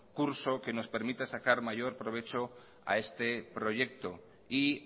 curso que nos permita sacar mayor provecho a este proyecto y